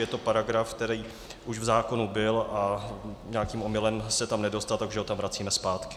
Je to paragraf, který už v zákonu byl a nějakým omylem se tam nedostal, takže ho tam vracíme zpátky.